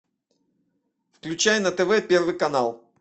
включай на тв первый канал